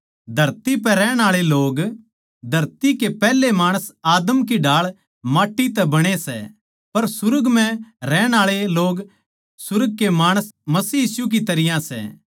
धरती पै रहण आळे लोग धरती के पैहले माणस आदम की ढाळ माट्टी तै बणे सै पर सुर्ग म्ह रहण आळे लोग सुर्ग के माणस मसीह यीशु की तरियां सै